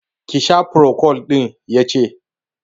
Ki sha procold ɗin'! Ya ce